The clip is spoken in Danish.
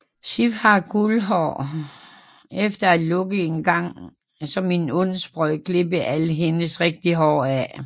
Sif har guldhår efter at Loke engang som en ond spøg klippede alt hendes rigtige hår af